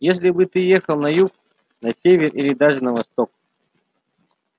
если бы ты ехал на юг на север или даже на восток